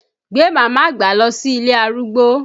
Gbé mama àgbà lọ sí ilé arúgbó!